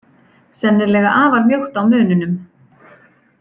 Sennilega afar mjótt á mununum.